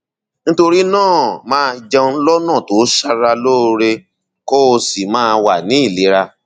nítorí náà máa jẹun lọnà tó ṣara lóore kó o sì máa wà ní ìlera